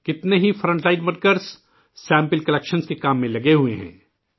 کتنے ہی front line کارکنان نمونے اکٹھے کرنے کے کام میں لگے ہوئے ہیں